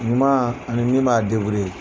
Ɲuman ani min b'a